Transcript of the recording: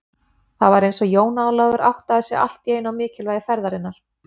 Það var eins og Jón Ólafur áttaði sig allt í einu á mikilvægi ferðarinnar.